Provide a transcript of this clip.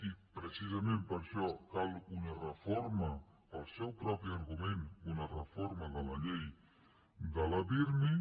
i precisament per això cal una reforma pel seu propi argument una reforma de la llei de la pirmi